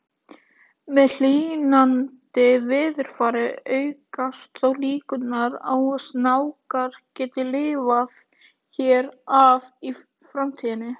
Með hlýnandi veðurfari aukast þó líkurnar á að snákar geti lifað hér af í framtíðinni.